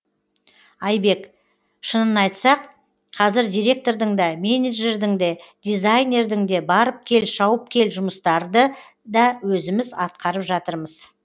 айбек шынын айтсақ қазір директордың да менеджердің де дизайнердің де барып кел шауып кел жұмыстарды да өзіміз атқарып жатырмыз